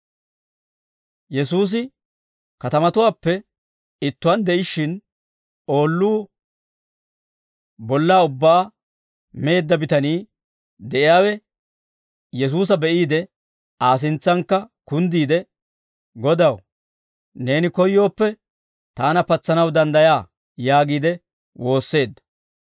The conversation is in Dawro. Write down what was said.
Yesuusi katamatuwaappe ittuwaan de'ishshin oolluu bollaa ubbaa meedda bitanii de'iyaawe Yesuusa be'iide Aa sintsankka kunddiide, «Godaw, neeni koyyooppe taana patsanaw danddayaa» yaagiide woosseedda.